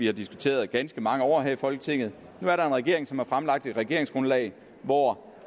har diskuteret i ganske mange år her i folketinget nu er der en regering som har fremlagt et regeringsgrundlag hvor